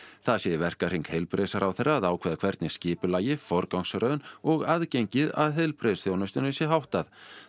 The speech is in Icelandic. það sé í verkahring heilbrigðisráðherra að ákveða hvernig skipulagi forgangsröðun og aðgengi að heilbrigðisþjónustunni sé háttað